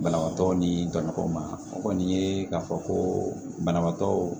Banabaatɔ ni dɔn ma o kɔni ye k'a fɔ ko banabaatɔ